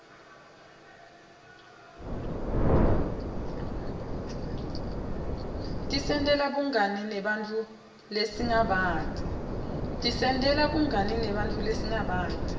tisentela bungani nebanntfu lesingabati